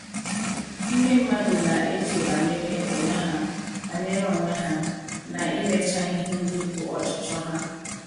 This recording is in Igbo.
Ndị mmadụ na - eche banyere onwe ha banyere onwe ha na imecha ihe ndị bụ ọchịchọ ha. ”